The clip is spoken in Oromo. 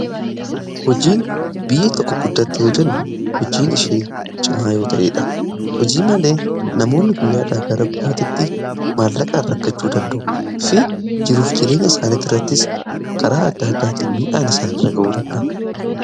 Hojiin biyyi tokko guddatte yoo jennu hojiin ishee cimaa yoo ta'eedha. Hojii malee namoonni guyyaadhaa gara guyaatitti maallaqaa in rakkachuu danda'u fi jiruuf jireenya isaaniitti irrattis karaa adda addaatiin miidhaan isaan irra ga'uu danda'a.